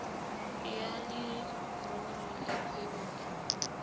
ya leruri ya kgwebo e